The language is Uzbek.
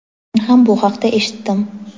men ham bu haqda eshitdim.